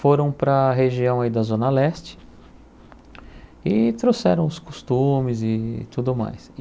Foram para a região aí da Zona Leste e trouxeram os costumes e tudo mais.